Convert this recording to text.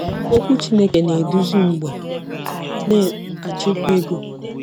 Okwu Chineke na-eduzi Mgbe Ị Na-achịkwa Ego